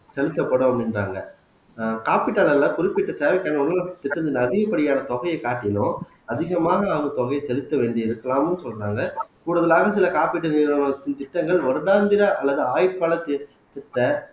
செலுத்தப்படும் அப்படின்றாங்க ஆஹ் காப்பீட்டு அளவிலே குறிப்பிட்ட தேவைக்கான அதிகப்படியான தொகையைக் காட்டிலும் அதிகமான தொகையை செலுத்த வேண்டி இருக்கலாம்ன்னு சொல்றாங்க கூடுதலாக சில காப்பீட்டு நிறுவனத்தின் திட்டங்கள் வருடாந்திர அல்லது ஆயுட்கால திட்டத்த